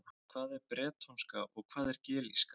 Hvað er bretónska og hvað er gelíska?